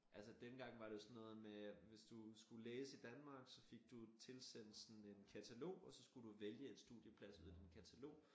Altså dengang var det jo sådan noget med hvis du skulle læse i Danmark så fik du tilsendt sådan katalog og så skulle du vælge en studieplads ud af din katalog